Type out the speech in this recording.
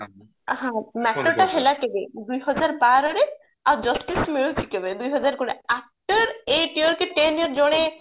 ହଁ matter ଟା ହେଲା କେବେ ଦୁଇହଜାର ବାରରେ ଆଉ justice ମିଳୁଛି କେବେ ଦୁଇହଜାର କୋଡିଏ after eight year କି ten year ଜଣେ